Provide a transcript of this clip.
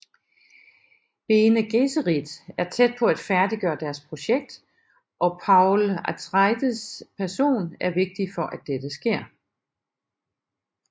Bene Gesserit er tæt på at færdiggøre deres projekt og Paul Atreides person er vigtig for at dette sker